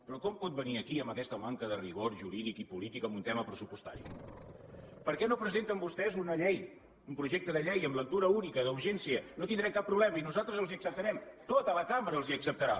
però com pot venir aquí amb aquesta manca de rigor jurídic i polític en un tema pressupostari per què no presenten vostès una llei un projecte de llei en lectura única d’urgència no tindrem cap problema i nosaltres els ho acceptarem tota la cambra els ho acceptarà